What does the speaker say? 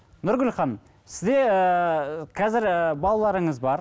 нұргүл ханым сізде ыыы қазір ы балаларыңыз бар